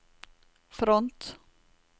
front